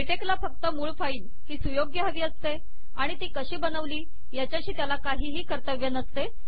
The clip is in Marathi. लेटेक ला फक्त मूळ फाइल ही सुयोग्य हवी असते आणि ती कशी बनवली याच्याशी त्याला काहीही कर्तव्य नसते